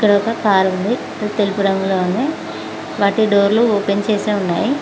ఇక్కడ ఒక కార్ ఉంది అది తెలుపు రంగులో ఉంది వాటి డోర్లు ఓపెన్ చేసె ఉన్నాయి.